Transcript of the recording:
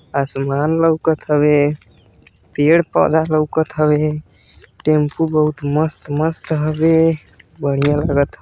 आसमान लउकत हवे। पेड़ पौधा लउकत हवे। टेम्पू बहुत मस्त मस्त हवे। बढ़िया लागत ह।